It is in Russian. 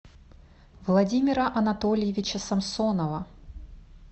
владимира анатольевича самсонова